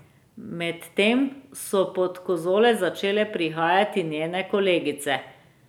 Medtem so pod kozolec začele prihajati njene kolegice.